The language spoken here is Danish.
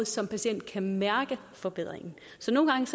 som patient kan mærke forbedringen så nogle gange